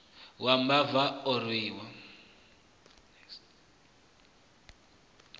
wa mbava a u orwi